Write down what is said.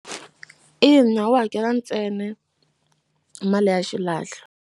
Ina wu hakela ntsena mali ya xilahlo.